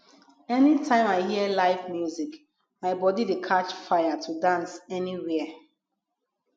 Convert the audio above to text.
anytime i hear live music my body dey catch fire to dance anywhere